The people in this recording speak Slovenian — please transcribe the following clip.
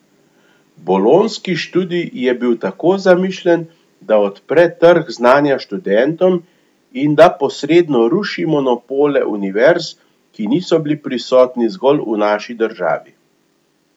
Bolonjski študij je bil tako zamišljen, da odpre trg znanja študentom in da posredno ruši monopole univerz, ki niso bili prisotni zgolj v naši državi.